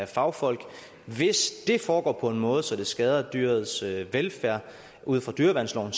fagfolk hvis det foregår på en måde så det skader dyrets velfærd ud fra dyreværnsloven